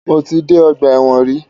Mo ti dé ọgbà ẹ̀wọ̀n rí.